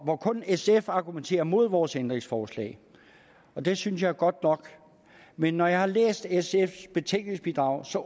hvor kun sf argumenterer mod vores ændringsforslag og det synes jeg er godt nok men når jeg har læst sfs betænkningsbidrag